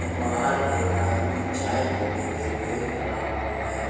बाहर एक आदमी चाय पीने के लिए खड़ा हुआ है।